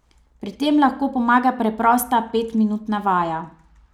Pri tem lahko pomaga preprosta pet minutna vaja.